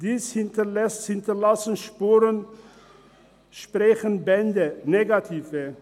Diese hinterlassenen Spuren sprechen Bände, negative.